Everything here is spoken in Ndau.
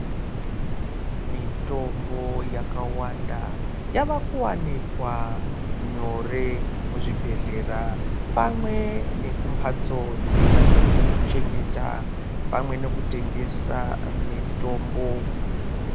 Mitombo yakawanda yavakuwanikwa nyore muzvibhedhlera pamwe nekumhatso dzinoita zvekuchengeta pamwe nekutengesa mitombo.